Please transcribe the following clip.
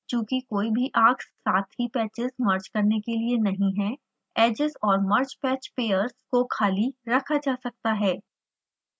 चूँकि कोई भी arcs साथ ही patches मर्ज करने के लिए नहीं हैं edges और mergepatchpairs को खाली रखा जा सकता है